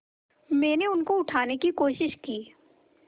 मैंने उनको उठाने की कोशिश की